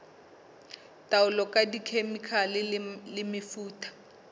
taolo ka dikhemikhale le mefuta